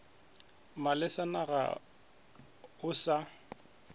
malesa na ga o sa